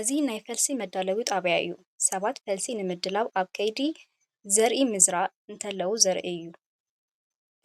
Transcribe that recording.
እዚ ናይ ፈልሲ መዳለዊ ጣብያ እዩ፡፡ ሰባት ፈልሲ ንምድላው ኣብ ከይዲ ዘርኢ ምዝራእ እንተለዉ ይርአዩ ኣለዉ፡፡